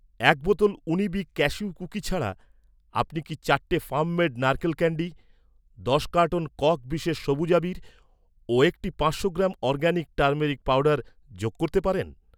এক বোতল উনিবিক ক্যাশিউ কুকি ছাড়া, আপনি কি চারটে ফার্ম মেড নারকেল ক্যান্ডি, দশ কার্টন কক বিশেষ সবুজ আবীর ও একটি পাঁচশো গ্রাম অরগ্যানিক টারমেরিক পাউডার যোগ করতে পারেন?